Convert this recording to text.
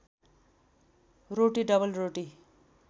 रोटी double रोटी